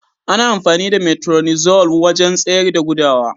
Ana amfani da "metronidazole" wajen tsayar da gudawa.